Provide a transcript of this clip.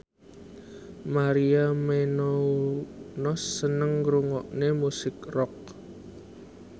Maria Menounos seneng ngrungokne musik rock